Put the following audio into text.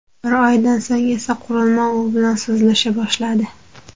Bir oydan so‘ng esa, qurilma u bilan so‘zlasha boshladi .